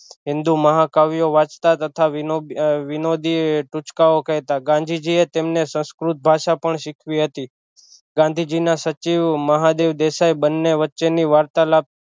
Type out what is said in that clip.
હિન્દુ મહાકાવ્યો વાંચતાં તથા વિનો વિનોદી ટુચકાઑ કેહતા ગાંધીજી એ તેમણે સંસ્કૃત ભાષા પણ શીખવી હતી ગાંધીજી ના સચિવ મહાદેવ દેસાઇ બંને વચચે ની વાર્તાલાપ